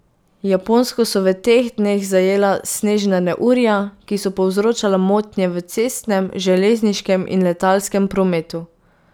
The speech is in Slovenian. Japonsko so v teh dneh zajela snežna neurja, ki so povzročala motnje v cestnem, železniškem in letalskem prometu.